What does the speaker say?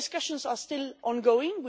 So, discussions are still ongoing.